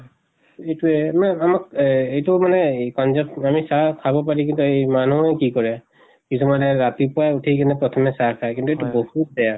ইটোয়ে আমাক এহ এইটো মানে এই পান্জাব আমি চাহ খাব পাৰি কিন্তু এই মানুহুই কি কৰে। কিছুমানে ৰাতিপৱাই উঠি কেনে প্ৰথমে চাহ খায়, কিন্তু এইটো বহুত বেয়া।